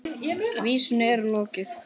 Vísunni er lokið.